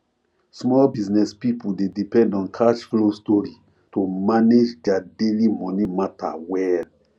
small business people dey depend on cash flow stori to manage their daily money matter well